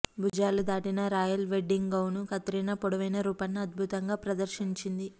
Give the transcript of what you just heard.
భుజాలు దాటినా royal wedding gown Katrina పొడవైన రూపాన్ని అద్భుతంగా ప్రదర్శించింది